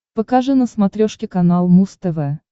покажи на смотрешке канал муз тв